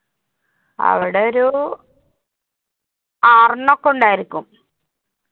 അവിടെ ഒരു ആറെണ്ണം ഒക്കെ ഉണ്ടായിരിക്കും.